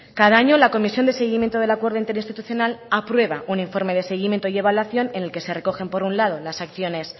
cada año la comisión de seguimiento del acuerdo interinstitucional aprueba un informe de seguimiento y evaluación en el que se recogen por un lado las acciones